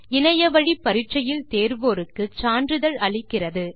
இணைய வழி பரிட்சையில் தேருவோருக்கு சான்றிதழ் அளிக்கிறது